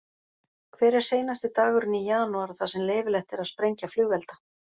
Hver er seinasti dagurinn í janúar þar sem leyfilegt er að sprengja flugelda?